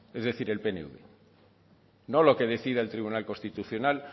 es decir el pnv no lo que decida el tribunal constitucional